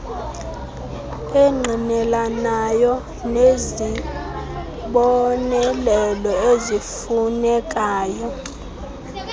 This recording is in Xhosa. engqinelanayo nezibonelelo ezifunekayo